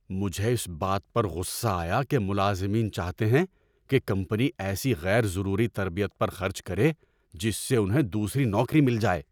مجھے اس بات پر غصہ آیا کہ ملازمین چاہتے ہیں کہ کمپنی ایسی غیر ضروری تربیت پر خرچ کرے جس سے انہیں دوسری نوکری مل جائے۔